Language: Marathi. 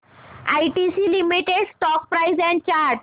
ITC limited stock price and chart